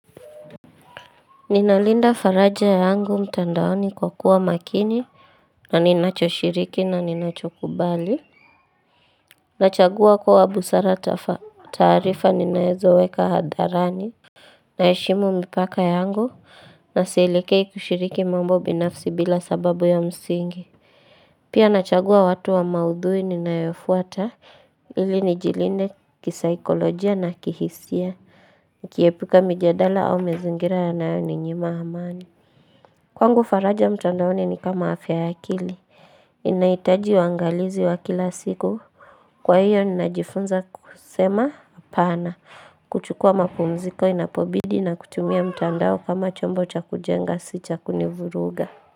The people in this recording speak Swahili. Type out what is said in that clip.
Ninalinda faraja yangu mtandaoni kwa kuwa makini Naninacho shiriki na ninacho kubali Nachagua kwa busara taarifa ninaezo weka hadharani Naeshimu mpaka ya angu na sielekei kushiriki mambo binafsi bila sababu ya msingi Pia nachagua watu wa maudhui ninayofuata ili nijilinde kisaikolojia na kihisia kuepuka mjadala au mazingira yanayo ninyima amani Kwangu faraja mtandaoni ni kama afya ya kili. Inaitaji wangalizi wa kila siku. Kwa hiyo ninajifunza kusema hapana. Kuchukua mapumziko inapobidi na kutumia mtandao kama chombo cha kujenga si cha kunivuruga.